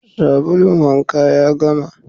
Sabulun wanka ya gama